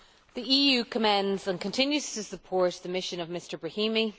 The EU commends and continues to support the mission of Mr Brahimi.